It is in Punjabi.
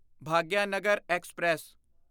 ਭਾਗਿਆਨਗਰ ਐਕਸਪ੍ਰੈਸ